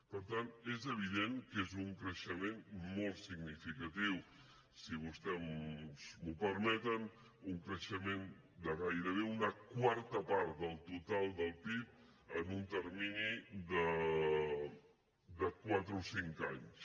per tant és evident que és un creixement molt significatiu si vostès m’ho permeten un creixement de gairebé una quarta part del total del pib en un termini de quatre o cinc anys